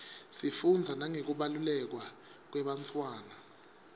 sifundza nangekubelekwa kwebantfwana